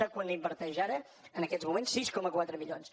sap quant inverteix ara en aquests moments sis coma quatre milions